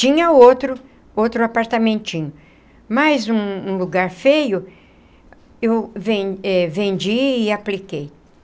Tinha outro outro apartamentinho, mas um um lugar feio, eu ven eh vendi e apliquei.